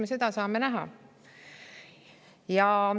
Eks me saame seda näha.